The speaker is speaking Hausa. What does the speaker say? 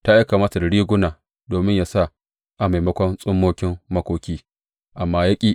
Ta aika masa da riguna domin yă sa a maimakon tsummokin makoki, amma ya ƙi.